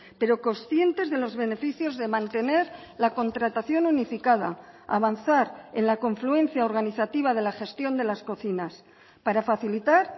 pero conscientes de los beneficios de mantener la contratación unificada avanzar en la confluencia organizativa de la gestión de las cocinas para facilitar